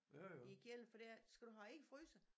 I æ kælder for det ikke skal du have ikke i fryser